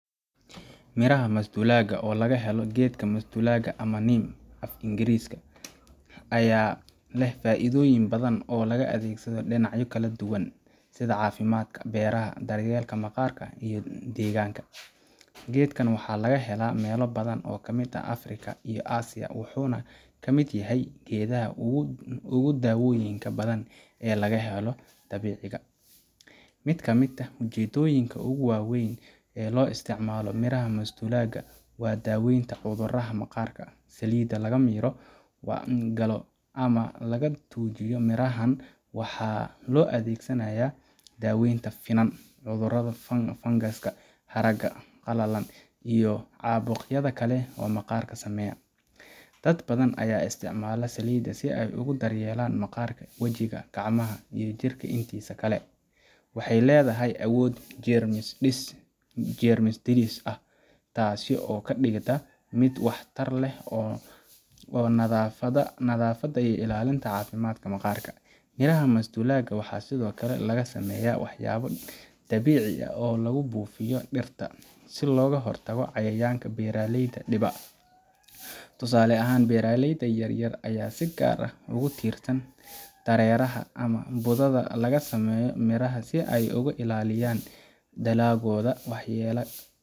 Miraha masduulaagga, oo laga helo geedka masduulaagga ama neem af Ingiriisi, ayaa leh faa’iidooyin badan oo loo adeegsado dhinacyo kala duwan, sida caafimaadka, beeraha, daryeelka maqaarka iyo deegaanka. Geedkan waxaa laga helaa meelo badan oo ka mid ah Afrika iyo Aasiya, wuxuuna ka mid yahay geedaha ugu dawooyinka badan ee laga helo dabiciga. Mid ka mid ah ujeedooyinka ugu weyn ee loo isticmaalo miraha masduulaagga waa daaweynta cudurrada maqaarka. Saliidda laga miro galo ama laga tuujiyo mirahan waxaa loo adeegsanaya daweynta finan, cudurrada fangaska, haragga qalalan, iyo caabuqyada kale ee maqaarka saameeya. Dad badan ayaa isticmaala saliidda si ay ugu daryeelaan maqaarka wajiga, gacmaha, iyo jirka intiisa kale. Waxay leedahay awood jeermis dilis ah, taasoo ka dhigaysa mid waxtar u leh nadaafadda iyo ilaalinta caafimaadka maqaarka. Miraha masduulaagga waxaa sidoo kale laga sameeyaa waxyaabo dabiici ah oo lagu buufiyo dhirta, si looga hortago cayayaanka beeraleyda dhiba. Tusaale ahaan, beeraleyda yar yar ayaa si gaar ah ugu tiirsan dareeraha ama budada laga sameeyo mirahan si ay uga ilaaliyaan dalaggooda waxyeelada.